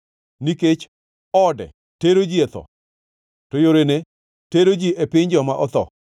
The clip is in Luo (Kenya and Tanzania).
Nikech ode tero ji e tho to yorene tero ji e piny joma otho.